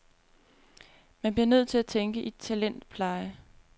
Man bliver nødt til at tænke i talentpleje.